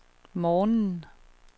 morgenen